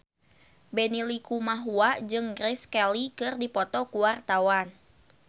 Benny Likumahua jeung Grace Kelly keur dipoto ku wartawan